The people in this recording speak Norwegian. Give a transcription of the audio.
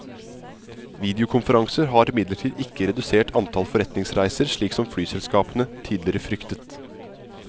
Videokonferanser har imidlertid ikke redusert antall forretningsreiser slik som flyselskapene tidligere fryktet.